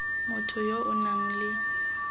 motho yo o nang le